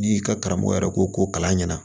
N'i ka karamɔgɔ yɛrɛ ko kalan ɲɛna